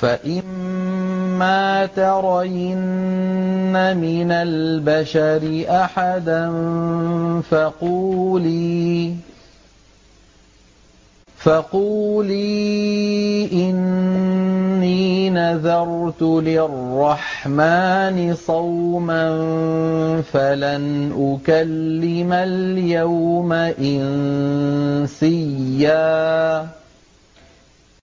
فَإِمَّا تَرَيِنَّ مِنَ الْبَشَرِ أَحَدًا فَقُولِي إِنِّي نَذَرْتُ لِلرَّحْمَٰنِ صَوْمًا فَلَنْ أُكَلِّمَ الْيَوْمَ إِنسِيًّا